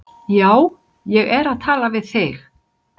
Já, ég er að tala við þig!